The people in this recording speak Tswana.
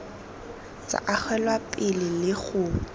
tsa agelwa pele le go